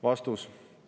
Vastus.